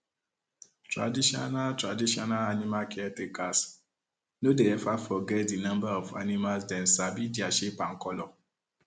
traditional traditional animal caretakers no dey ever forget the number of animalsdem sabi their shape and color